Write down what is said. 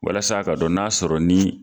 Walasa a ka dɔn n'a sɔrɔ ni